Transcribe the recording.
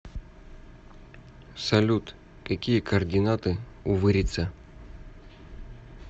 салют какие координаты у вырица